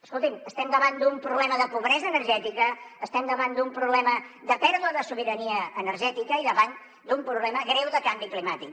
escolti’m estem davant d’un problema de pobresa energètica estem davant d’un problema de pèrdua de sobirania energètica i davant d’un problema greu de canvi climàtic